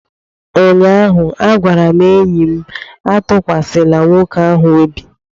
ụnyaahụ, a gwara m enyi m Atụkwasịla nwoke ahụ obi!